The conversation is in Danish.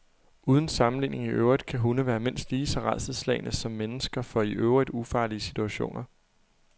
Uden sammenligning i øvrigt kan hunde være mindst lige så rædselsslagne som mennesker for i øvrigt ufarlige situationer.